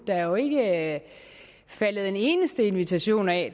der er jo ikke faldet en eneste invitation af